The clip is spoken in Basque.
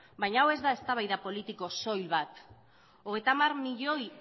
baina hau ez da eztabaida politiko soil bat hogeita hamar milioi